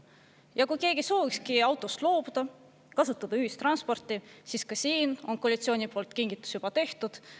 Ja kui keegi soovibki autost loobuda, kasutada ühistransporti, siis ka siin on koalitsiooni poolt kingitus juba tehtud.